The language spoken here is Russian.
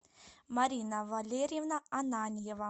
марина валерьевна ананьева